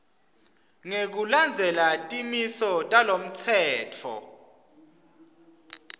ngekulandzela timiso talomtsetfo